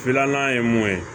Filanan ye mun ye